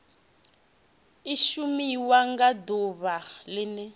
i shumiwa nga ḓuvha ḽene